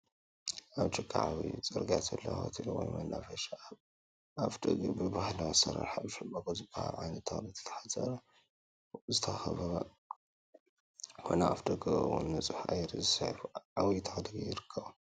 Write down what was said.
ኣብ ጥቃ ዓብዪ ፅርግያ ዘሎ ሆቴል ወይ መናፈሻ ኣብ ኣፍ ደጊኡ ብባህላዊ ኣሰራርሓ ብሻምበቆ ዝበሃል ዓይነት ተኽሊ ዝተሓፀረ ወይ ዝተኸበበ ኮይኑ ኣብ ኣፍ ደጊኡ እውን ንፁህ ኣየር ዝስሕብ ዓብዪ ተኽሊ ይርከቦ፡፡